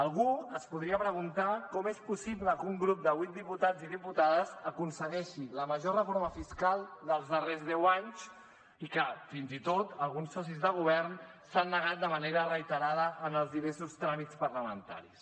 algú es podria preguntar com és possible que un grup de vuit diputats i diputades aconsegueixi la major reforma fiscal dels darrers deu anys i que fins i tot alguns socis de govern s’hi han negat de manera reiterada en els diversos tràmits parlamentaris